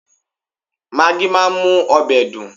Magí máa ń mú ọbẹ̀ dùn